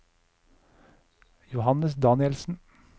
Johannes Danielsen